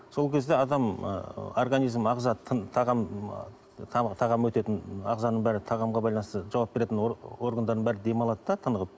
сол кезде адам ы организмі ағза тағам тағам өтетін ағзаның бәрі тағамға байланысты жауап беретін органдардың бәрі демалады да тынығып